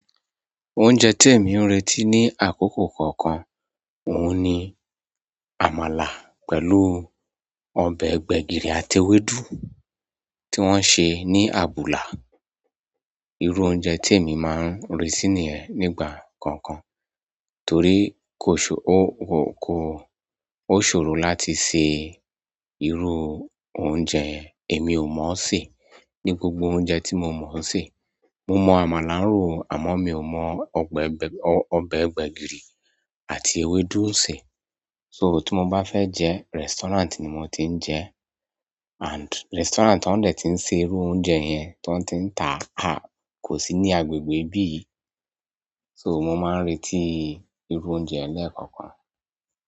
Oúnjẹ tí èmi ń retí ní àkókò kọọ́kan, òun ni àmàlà pẹ̀lú ọbẹ̀ gbẹ̀gìrì àti ewédú tí wọ́n ṣe ní abùlà. Irú oúnjẹ tí èmi máa ń retí nìyẹn nígbà kọ̀ọ̀kan torí o ṣòro láti se irú oúnjẹ èmi ò mọ̀ ọ́ sè. Ní gbogbo oúnjẹ tí mo mọ̀ ọ́n sè, mo mọ àmàlà ró àmọ́ mi ò mọ ọbẹ̀ gbẹ̀gìrì àti ewédú ń sè. So tí mo bá fẹ́ jẹ́, restaurant ni mo ti ń jẹ and restaurant tó ń dẹ̀ ti ń ṣe irú oúnjẹ yẹn, tó ń ti ń ta a kò sí ní agbègbè ibí yìí. So mo máa ń retí iru oúnjẹ yìí lekookan.